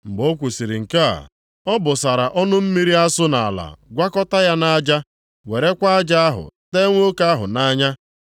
Mgbe o kwusiri nke a, ọ bụsara ọnụ mmiri asụ nʼala gwakọta ya na aja, werekwa aja ahụ tee nwoke ahụ nʼanya.